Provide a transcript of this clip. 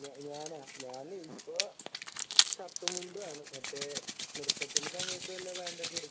ഞാൻ ഇപ്പൊ ഷർട്ടും മുണ്ടും ആണ് മറ്റേ നൃത്തത്തിന്റെ സമയത്തു വല്ല പാന്റൊക്കെ ഉടുക്കാം